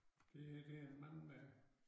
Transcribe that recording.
Det her det en mand der